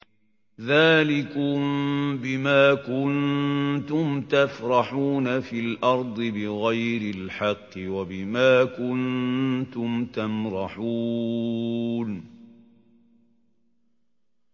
ذَٰلِكُم بِمَا كُنتُمْ تَفْرَحُونَ فِي الْأَرْضِ بِغَيْرِ الْحَقِّ وَبِمَا كُنتُمْ تَمْرَحُونَ